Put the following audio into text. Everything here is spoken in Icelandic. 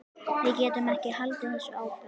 Við getum ekki haldið þessu áfram.